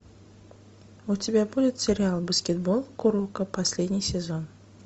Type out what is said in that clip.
у тебя будет сериал баскетбол куроко последний сезон